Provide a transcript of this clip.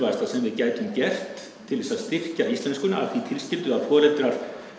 sem við gætum gert til að styrkja íslenskuna að því tilskyldu að foreldrar